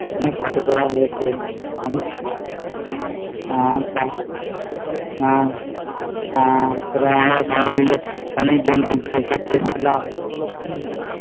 অনেক photo তোলা হয়ছে হম আমরা সবাই মিলে অনেক জন